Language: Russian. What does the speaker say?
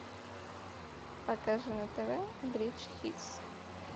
покажи на тв бридж хитс